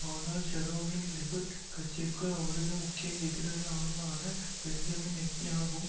ஆனால் ஷரோனும் லிகுட் கட்சியினுள் அவரது முக்கிய எதிராளியுமான பென்ஜமின் நெட்டன்யாகும்